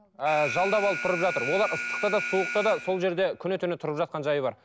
ыыы жалдап алып тұрып жатыр олар ыстықта да суықта да сол жерде күні түні тұрып жатқан жайы бар